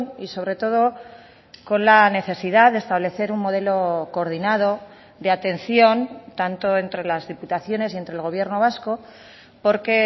y sobre todo con la necesidad de establecer un modelo coordinado de atención tanto entre las diputaciones y entre el gobierno vasco porque